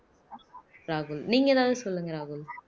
ராகுல் நீங்க ஏதாவது சொல்லுங்க ராகுல்